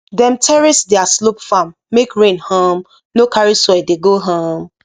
dem terrace their slope farm make rain um no carry soil dey go um